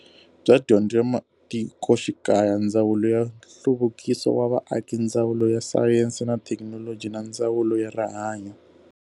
Bya Dyondzo ya Matikoxikaya, Ndzawulo ya Nhluvukiso wa Vaaki, Ndzawulo ya Sayense na Thekinoloji na Ndzawulo ya Rihanyo.